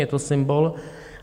Je to symbol.